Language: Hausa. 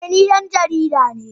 Eh ni dan jarida ne